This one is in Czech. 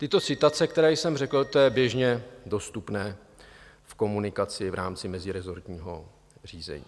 Tyto citace, které jsem řekl, to je běžně dostupné v komunikaci v rámci meziresortního řízení.